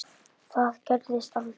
Það gerðist aldrei.